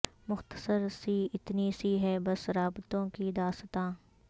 مختصر سی اتنی سی ہے بس رابطوں کی داستاں